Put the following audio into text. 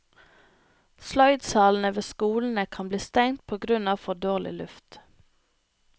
Sløydsalene ved skolene kan bli stengt på grunn av for dårlig luft.